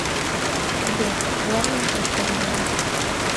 сбер главная шишка сбера